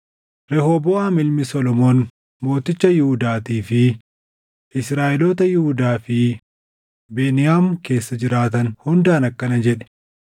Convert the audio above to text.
“Rehooboʼaam ilma Solomoon mooticha Yihuudaatii fi Israaʼeloota Yihuudaa fi Beniyaam keessa jiraatan hundaan akkana jedhi;